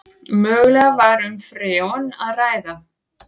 Mögulega var um freon að ræða